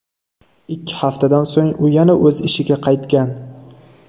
Ikki haftadan so‘ng u yana o‘z ishiga qaytgan .